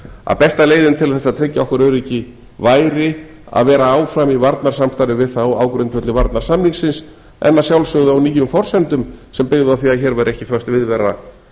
að besta leiðin til að tryggja okkar öryggi væri að vera áfram í varnarsamstarfi við þá á grundvelli varnarsamningsins en að sjálfsögðu á nýjum forsendum sem byggðu á að hér væri ekki föst viðvera